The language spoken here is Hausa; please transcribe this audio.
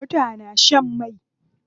Mota na shan mai.